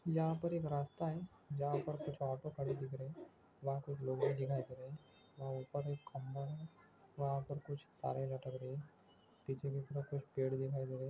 यहाँ पर एक रास्ता है जहाँ पर कुछ ऑटो खड़े हुए दिख रहे वहाँ कुछ लोग दिखाई दे रहे वहाँ उप्पर एक खंबा है वहाँ पर कुछ तारे लटक रही पीछे की तरफ कुछ पेड़ दिखाई दे रही।